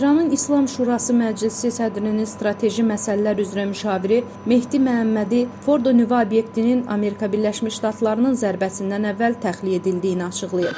İranın İslam Şurası Məclisi sədrinin strateji məsələlər üzrə müşaviri Mehdi Məhəmmədi Fordo nüvə obyektinin Amerika Birləşmiş Ştatlarının zərbəsindən əvvəl təxliyə edildiyini açıqlayıb.